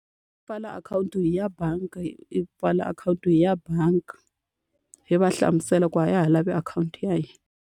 I pfala akhawunti ya bangi, hi pfala akhawunti ya bangi. Hi va hlamusela ku a ha ha lavi akhawunti ya hina.